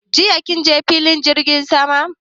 Jiya kin je filin jirgin sama?